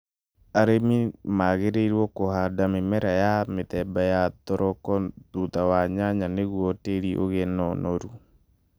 Arĩmi magĩrĩirũo kũhanda mĩmera ya mĩthemba ya thoroko thutha wa nyanya nĩguo tĩĩri ũgĩe na ũnoru